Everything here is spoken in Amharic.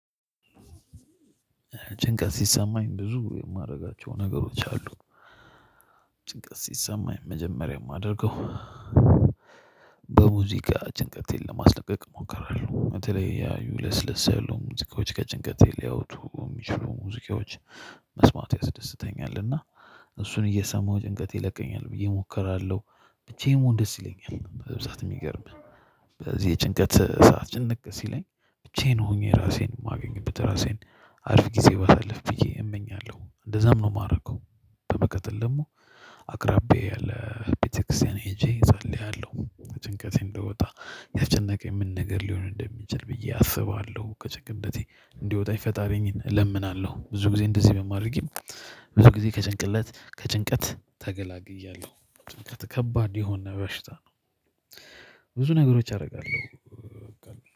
ጭንቀት ሲሰማኝ ብዙ የማደርጋቸው ነገሮች አሉ። ጭንቀት ሲሰማኝ መጀመሪያ የማደርገው። በሙዚቃ ጭንቀቴን ለማስለቀቅ እሞክራ በተለያዩ ለስለስ ያሉ ሙዚቃዎች ከጭንቀት ሊያወጡ የሚችሉ ሙዚቃዎች። መስማት ያስደስተኛል እና እሱን እየሰማሁ ጭንቀት ይለቀኛል ብዬ እሞክራለሁ። ብቻዬን መሆን ደስ ይለኛል በብዛት የሚገርምሀ። በዚህ የጭንቀት ሰዓት ጭንቅ ሲለኝ ብቻዬን ሆኜ ራሴን የማገኝበት ራሴን አሪፈ ጊዜ ባሳልፍ ብዬ እመኛለሁ እንደዛም ነው የማረገው። በመቀጥል ደግሞ አቅራቢያዬ ያለ ቤተክርስቲያን ሄጄ እጸልያለሁ። ከጭንቀቴ እንድወጣ ያስጨነቀኝ ምን ነገር ሊሆን እንደሚችል ብዬ አስባለሁ። ከጭንቀቴ እንዲያወጣኝ የፈጠረኝን እለምናለሁ። ብዙ ጊዜ እንደዚህ በማድረጌ። ብዙ ጊዜ ከጭንቅለት ከጭንቀት ተገላግያለሁ። ጭንቀት ከባድ የሆነ በሽታ ነው። ብዙ ነገሮች አደርጋለሁ።